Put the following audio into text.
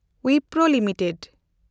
Wipro limited